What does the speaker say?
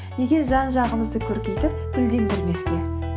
неге жан жағымызды көркейтіп гүлдендірмеске